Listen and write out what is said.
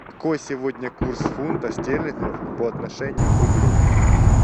какой сегодня курс фунта стерлингов по отношению к рублю